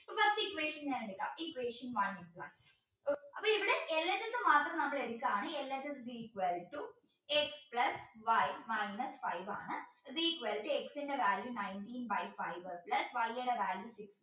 ഒന്നാമത്തെ equation ഞാൻ എടുക്കാം equation one അപ്പോ ഇവിടെ LHS മാത്രം എടുക്കാണ് LHSequal to x plus y minus five ആണ് is equal to x ന്റെ value nineteen by five plus y